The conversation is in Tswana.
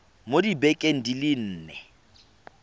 mo dibekeng di le nne